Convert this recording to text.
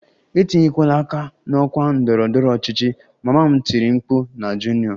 Etinyekwala aka n'okwu ndọrọ ndọrọ ọchịchị! Mama m tiri mkpu na Junior